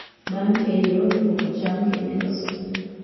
Bang' keyo, ilwoko cham kendo ilosogi.